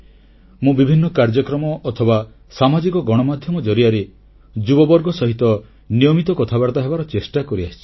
ମୁଁ ବିଭିନ୍ନ କାର୍ଯ୍ୟକ୍ରମ ଅଥବା ସାମାଜିକ ଗଣମାଧ୍ୟମ ଜରିଆରେ ଯୁବବର୍ଗ ସହିତ ନିୟମିତ କଥାବାର୍ତ୍ତା ହେବାର ଚେଷ୍ଟା କରିଆସିଛି